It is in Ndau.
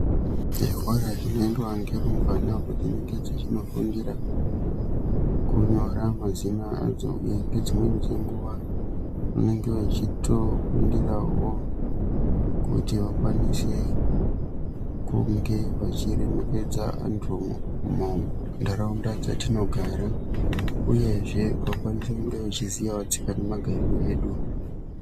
Zvikora zvinoendwa ngerumbwana uko dzinenge dzichinofundira kunyora mazina adzo. Ngedzimweni dzenguva vanenge vechitofundirawo kuti vakwanise kunge vachiremekedza antu muntaraunda dzatinogara. Uyezve vakwanise kunge vachiziyawo tsika nemagariro edu.